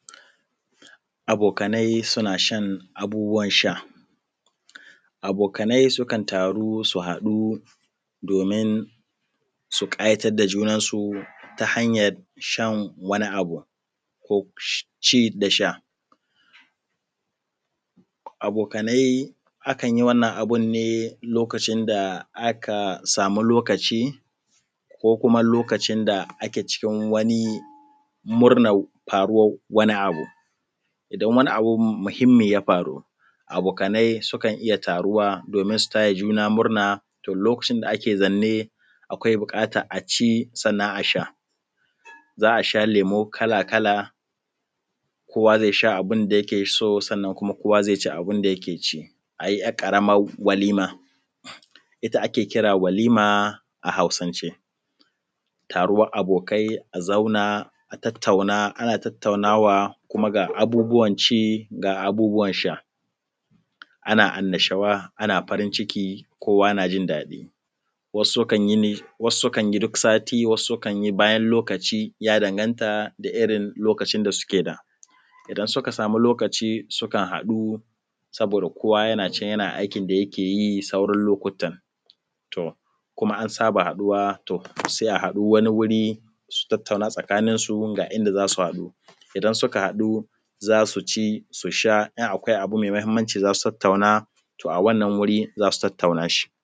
Abokanai suna ʃan abubuwan sha, abokanai sukan taru su haɗu domin su ƙayatar da junan su ta hanyar shan wani abu ko ci da sha. Abokanai a kan yi wannan abun ne lokacin da aka sami lokaci ko kuma lokacin da ake cikin wani murnar faruwar wani abu. idan wani abu muhimmi ya faru. Abokanai sukan iya taruwa domin su taya juna murna, to lokacin da ake zanne akwai buƙatan a ci sannan a sha. Za a sha lemo kala-kala, kowa zai sha abin da yake so, sannan kuma kowa zai ci abin da yake ci. A yi wata ‘yar ƙaramar walima ita ake kira walima a hausansh, Taruwan abokai a zauna a tattauna ana tattaunawa kuma ga abubuwan ci ga abubuwan sha, ana annashawa ana farin ciki kowa na jin daɗi Wasu sukan yinni wasu sukan yi duk sati, wasu sukan yi bayan lokaci ya danganta da irin lokacin da suke da. Idan suka samu lokaci sukan haɗu saboda kowa yana can yana aikin da yake yi sauran lokutta. To kuma an saba haɗuwa, to sai a haɗu wani wuri su tattauna a tsakanin su ga inda za su haɗo. Idan suka haɗu za su ci, su sa in akwai abu mai muhimmanci za su tattauna to a wannan wuri za su tattauna shi.